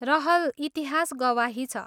रहल इतिहास गवाही छ!